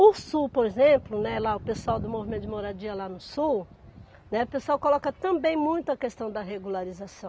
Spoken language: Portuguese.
O Sul, por exemplo, né, lá o pessoal do movimento de moradia lá no Sul, né, o pessoal coloca também muito a questão da regularização.